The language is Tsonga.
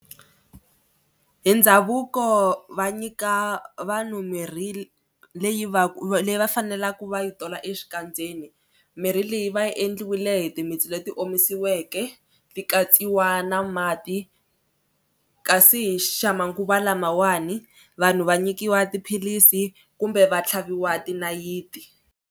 Hi ndhavuko va nyika vanhu mirhi leyi va ku leyi va faneleku va yi tola exikandzeni. Mirhi leyi va yi endliwile hi timitsu leti omisiweke ti katsiwa na mati kasi hi xamanguva lamawani vanhu va nyikiwa tiphilisi kumbe va tlhaviwa tinayiti.